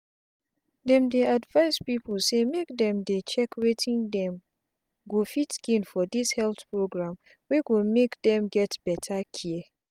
dem dey advise pipu say make dem dey check wetin dem go fit gain for dis health program wey go make dem get beta care